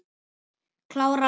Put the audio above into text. Klára á morgun.